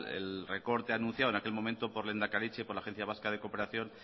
el recorte anunciado en aquel momento por lehendakaritza y por la agencia vasca de cooperación